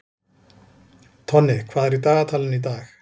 Tonni, hvað er í dagatalinu í dag?